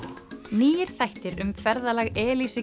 nýir þættir um ferðalag